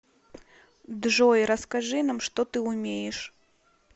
джой расскажи нам что ты умеешь